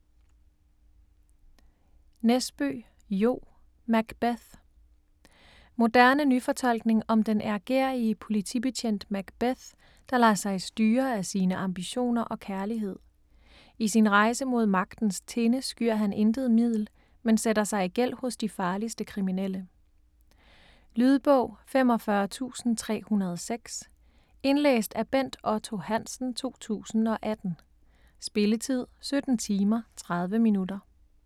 Nesbø, Jo: Macbeth Moderne nyfortolkning om den ærgerrige politibetjent Macbeth, der lader sig styre af sine ambitioner og kærlighed. I sin rejse mod magtens tinde skyer han intet middel, men sætter sig i gæld hos de farligste kriminelle. Lydbog 45306 Indlæst af Bent Otto Hansen, 2018. Spilletid: 17 timer, 30 minutter.